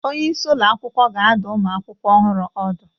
Onye isi ụlọ akwụkwọ ga-adụ ụmụ akwụkwọ ọhụrụ ọdụ